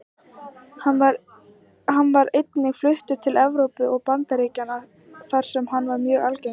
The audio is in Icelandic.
Hann var einnig fluttur til Evrópu og Bandaríkjanna þar sem hann er mjög algengur.